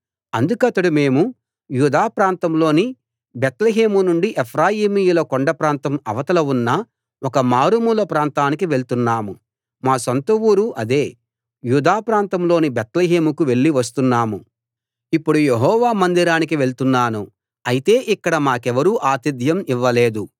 అందుకతడు మేము యూదా ప్రాంతంలోని బేత్లెహేము నుండి ఎఫ్రాయిమీయుల కొండ ప్రాంతం అవతల ఉన్న ఒక మారుమూల ప్రాంతానికి వెళ్తున్నాం మా సొంత ఊరు అదే యూదా ప్రాంతం లోని బేత్లెహేముకు వెళ్ళి వస్తున్నాము ఇప్పుడు యెహోవా మందిరానికి వెళ్తున్నాను అయితే ఇక్కడ మాకెవరూ ఆతిథ్యం ఇవ్వలేదు